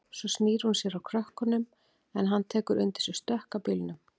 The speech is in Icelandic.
Svo snýr hún sér að krökkunum en hann tekur undir sig stökk að bílnum.